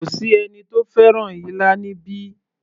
Kò sí ẹni tó fẹ́ràn ilá níbí